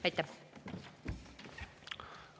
Aitäh!